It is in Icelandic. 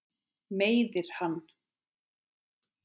Meiðir hann.